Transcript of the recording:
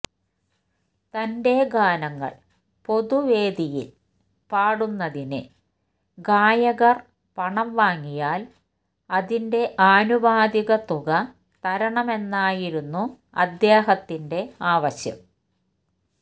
തന്റെ ഗാനങ്ങൾ പൊതു വേദികളായിൽ പാടുന്നതിന് ഗായകർ പണം വാങ്ങിയാൽ അതിന്റെ ആനുപാതിക തുക തരണമെന്നായിരുന്നു അദ്ദേഹത്തിന്റെ ആവശ്യം